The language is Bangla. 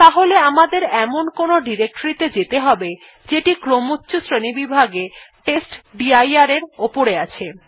তাহলে আমাদের এমন কোনো ডিরেক্টরী ত়ে যেতে হবে যেটি ক্রমচ্ছ শ্রেণীবিভাগে testdir এর থেকে উপরে আছে